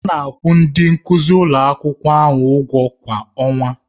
A na-akwụ ndị nkuzi ụlọ akwụkwọ ụgwọ kwa ọnwa.